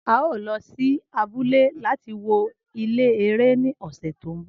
ao lo si abule lati wo ile ẹrẹ ni ọsẹ to nbọ